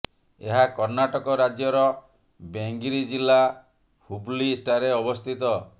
ଏହା କର୍ଣ୍ଣାଟକ ରାଜ୍ୟର ବେଙ୍ଗିରି ଜିଲ୍ଲା ହୁବ୍ଳି ଠାରେ ଅବସ୍ଥିତ